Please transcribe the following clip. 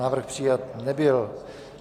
Návrh přijat nebyl.